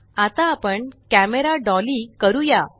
आता आपण camera dolly camera बैठक करूया